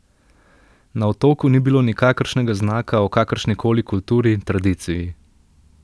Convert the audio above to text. Na otoku ni bilo nikakršnega znaka o kakršni koli kulturi, tradiciji.